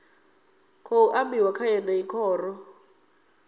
khou ambiwa kha yeneyi khoro